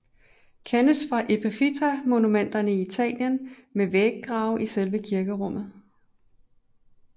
Kendes fra epitafmonumenter i Italien med væggrave i selve kirkerummet